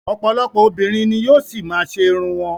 Ọ̀pọ̀lọpọ̀ obìnrin ni yóò ṣì má a ṣe irun wọn.